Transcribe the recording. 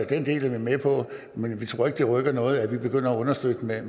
den del er vi med på men vi tror ikke det rykker noget at vi begynder at understøtte med